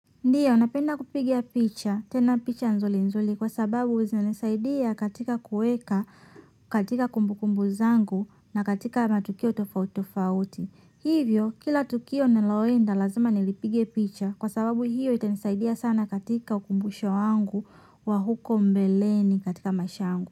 Ndio, napenda kupiga picha, tena picha nzuri nzuri kwa sababu zinanisaidia katika kuweka, katika kumbukumbu zangu na katika matukio tofauti tofauti. Hivyo kila tukio ninaloenda lazima nilipige picha kwa sababu hiyo itanisaidia sana katika ukumbusho wangu wa huko mbeleni katika maisha yangu.